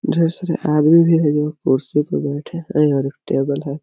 ढेर सारे आदमी भी है जो कुर्सी पे बैठे है और टेबल है।